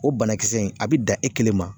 O banakisɛ in a bi dan, e kelen ma